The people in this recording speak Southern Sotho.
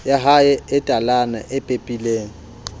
yahae e talana e pepileng